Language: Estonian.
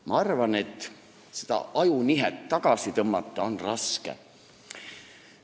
Ma arvan, et seda ajunihet tagasi tõmmata on raske.